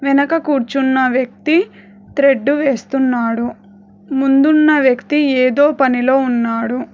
వెనక కూర్చున్న వ్యక్తి త్రెడ్డు వేస్తున్నాడు ముందున్న వ్యక్తి ఏదో పనిలో ఉన్నాడు.